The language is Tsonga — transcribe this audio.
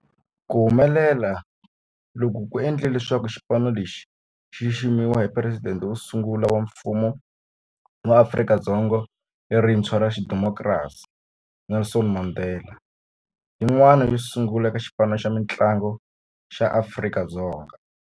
Ku humelela loku ku endle leswaku xipano lexi xi xiximiwa hi Presidente wo sungula wa Mfumo wa Afrika-Dzonga lerintshwa ra xidemokirasi, Nelson Mandela, yin'wana yo sungula eka xipano xa mintlangu xa Afrika-Dzonga.